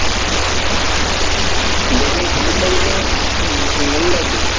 ഇതൊക്കെ ഉമ്മയുണ്ടാക്കലോ? അതോ നിങ്ങളുണ്ടാക്കുവോ?